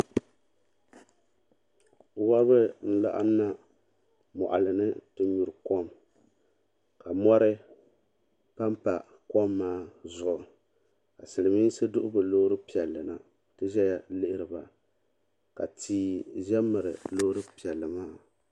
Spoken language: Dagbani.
Wobri n laɣim na n yi nyuri kom ka mori pampa kom maa zuɣu ka silimiinsi duhi bɛ loori piɛli na n ti zaya lihiri ba ka tia za m miri loori piɛli maa.